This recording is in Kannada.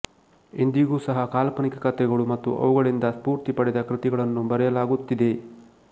ಇಂದಿಗೂ ಸಹ ಕಾಲ್ಪನಿಕ ಕಥೆಗಳು ಮತ್ತು ಅವುಗಳಿಂದ ಸ್ಫೂರ್ತಿ ಪಡೆದ ಕೃತಿಗಳನ್ನು ಬರೆಯಲಾಗುತ್ತಿದೆ